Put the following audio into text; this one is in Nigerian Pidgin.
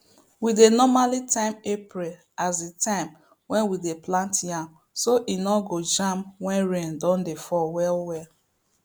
we dey normally time april as the time wey we dey plant yam so e no go jam wen rain don dey fall well well